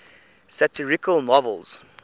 satirical novels